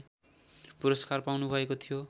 पुरस्कार पाउनुभएको थियो